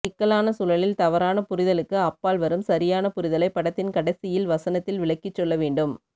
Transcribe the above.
சிக்கலான சூழலில் தவறான புரிதலுக்கு அப்பால் வரும் சரியான புரிதலை படத்தின் கடைசியில் வசனத்தில் விளக்ககிச் சொல்ல வேண்டும்